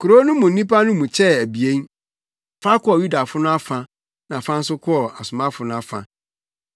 Kurow no mu nnipa no mu kyɛɛ abien; fa kɔɔ Yudafo no afa na fa nso kɔɔ asomafo no afa.